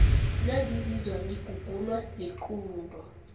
nangizizwa ngigugunwa liqunto